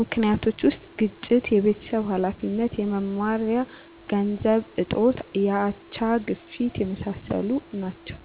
ምክኒቶች ውስጥ ግጭት፣ የቤተሰብ ሀላፊነት፣ የመማሪያ ገንዘብ እጦት፣ የአቻ፣ ግፊት የመሣሠሉት ናቸው።